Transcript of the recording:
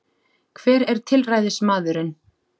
Hver er tilræðismaðurinn